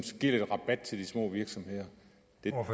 giver lidt rabat til de små virksomheder